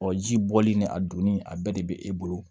Ɔ ji bɔli ni a donni a bɛɛ de be e bolo